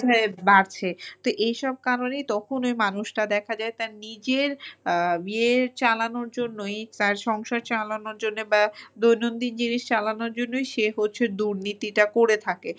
যেভাবে বাড়ছে তো এসব কারণেই তখন ওই মানুষটা দেখা যায় নিজের আহ ইয়ে চালানোর জন্যই তার সংসার চালানোর জন্যে বা দৈনন্দিন জিনিস চালানোর জন্যই সে হচ্ছে দুর্নীতিটা করে থাকে।